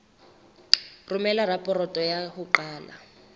romela raporoto ya ho qala